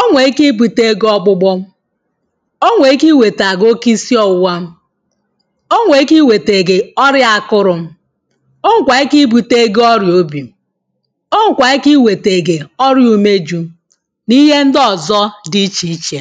o nwèrè ike ibute gị ọgbụgbọ o nwèrè ike iwètà gị oke isiọwụ̄wā o wè ike ị wètègè ọrịà akụrụ̄ o wèkwà ị bute gị orịà obì o wèkwà ị wètègè ọrụ ùme jū ihe ndị ọ̀zọ dị ichè ichè